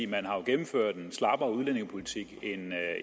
man har jo gennemført en slappere udlændingepolitik end